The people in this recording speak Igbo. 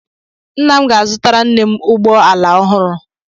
Nna m ga-azụtara nne m ụgbọ ala ọhụrụ.